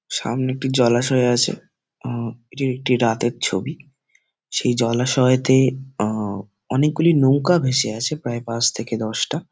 সামনে একটি জলাশয় আছে। আঁ এটি একটি রাতের ছবি সেই জলাশয়তে আঁ অনেক গুলি নৌকা ভেসে আছে প্রায় পাঁচ থেকে দশটা।